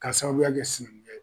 Ka sababuya kɛ sinankuya ye.